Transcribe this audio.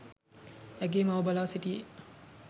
ඇගේ මව බලා සිටියේ